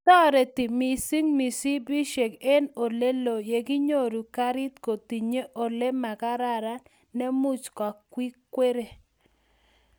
toreti mising mishipishek eng oleloo yoginyoru karit kotinye ole magararan ne muuch kakikwere